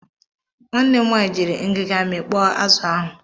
Nwanne m nwaanyị jiiri ngiga mikpọrọ azụ ahụ.